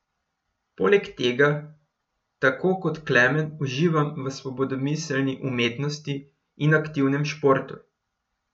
Poleg tega tako kot Klemen uživam v svobodomiselni umetnosti in aktivnem športu.